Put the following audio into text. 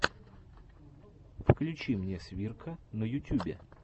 включи мне свирка на ютюбе